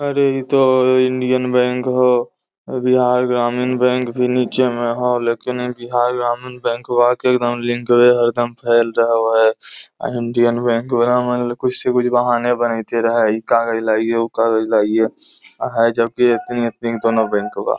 अरे इ तो इंडियन बैंक हो बिहार ग्रामीण बैंक भी नीचे में हाउ लेकिन बिहार ग्रामीण बैंकवा के एकदम लिंकवे हरदम फ़ैल रह है और इंडियन बैंक में वाला कुछ बहाने बनाते रह है इ कागज लाइए उ कागज लाइए आउ हई जब की इतने-इतने दोनों बैंकवा --